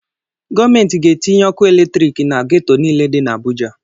Gọọmentị ga-etinye ọkụ eletriiki na geto niile dị n'Abụja.